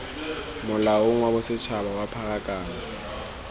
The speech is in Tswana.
molaong wa bosetshaba wa pharakano